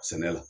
Sɛnɛ la